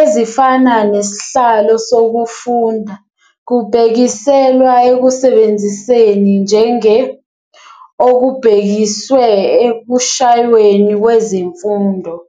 ezifana 'nesihlalo sokufunda', kubhekiselwa ekusebenziseni njenge okubhekiswe ekushayweni 'kwezemfundo'.